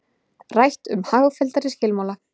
Rætt um hagfelldari skilmála